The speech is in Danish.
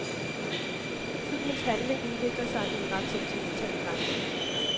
Filmens handling udvikler sig i ret sentimental retning.